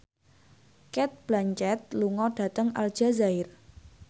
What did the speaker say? Cate Blanchett lunga dhateng Aljazair